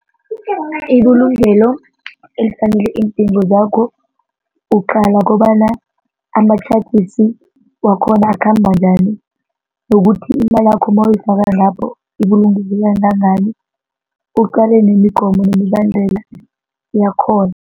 Ibulungelo elifanele iindingo zakho uqala kobana ama-charges wakhona akhamba njani nokuthi imalakho mawuyifaka lapho ibulungeke kangangani uqale nemigomo nemibandela yakhona.